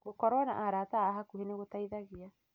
Gũkorũo na arata a hakuhĩ nĩ gũteithagia